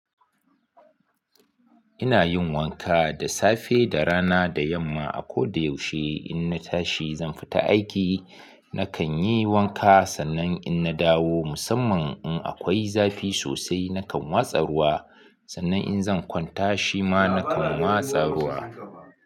Ina yin wanka da safe da rana da yamma. A ko da yaushe in na tashi zan fita aiki nakan yi wanka sannan in na dawo musamman in akwai zafi sosai nakan watsa ruwa sannan in zan kwanta shima nakan watsa ruwa.